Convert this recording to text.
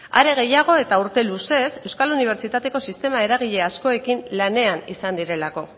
are gehiago eta urte luzez euskal unibertsitateko sistema eragile askoekin lanean izan direlako